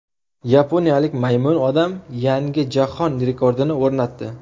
Yaponiyalik Maymun odam yangi jahon rekordini o‘rnatdi.